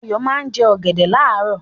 Ayọ̀ máa ń jẹ ọ̀gẹ̀dẹ̀ láàárọ̀.